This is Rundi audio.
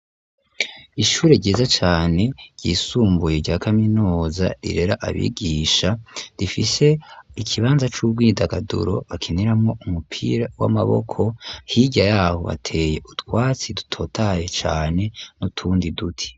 Ishure ryiza cane ryisumbuye rya kaminuza rirera abigisha, rifise ikibanza c'ubwidagaduro bakiniramwo umupira w'amaboko, hirya yabo bateye utwatsi dutotaye cane n'utundi duti.